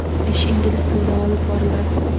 Ish ingliz tilida olib boriladi.